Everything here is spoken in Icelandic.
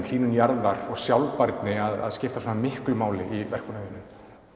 hlýnun jarðar sjálfbærni að skipta svona miklu máli í verkunum þínum